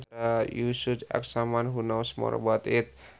You should ask someone who knows more about it